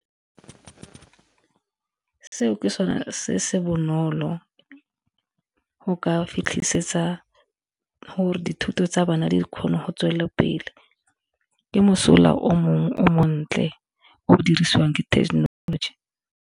Seo ke sone se se bonolo go ka fitlhisetsa gore dithuto tsa bana di kgone go tswelela pele ke mosola o mongwe o montle o dirisiwang ke technology.